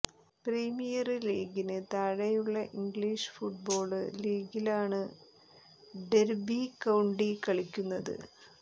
premier ലീഗിന് താഴെയുള്ള English football ലീഗിലാണ് ഡെര്ബി കൌണ്ടി കളിക്കുന്നത്